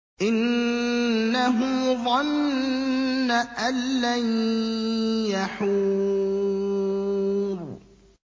إِنَّهُ ظَنَّ أَن لَّن يَحُورَ